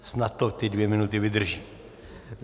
Snad to ty dvě minuty vydrží.